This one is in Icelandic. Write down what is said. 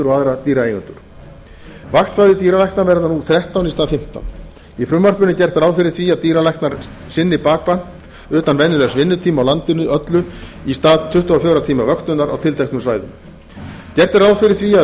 aðra dýraeigendur vaktsvæði dýralækna verða nú þrettán í stað fimmtán í frumvarpinu er gert ráð fyrir því að dýralæknar sinni bakvakt utan venjulegs vinnutíma á landinu öllu í stað tuttugu og fjögurra tíma vöktunar á tilteknum svæðum gert er ráð fyrir því að